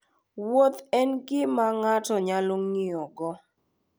Wuoth ​​en gima ng’ato nyalo ng'iyo go